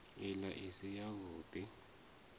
ila i si yavhud i